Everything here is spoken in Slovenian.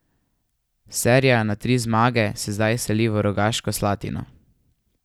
Serija na tri zmage se zdaj seli v Rogaško Slatino.